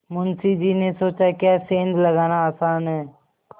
मुंशी जी ने सोचाक्या सेंध लगाना आसान है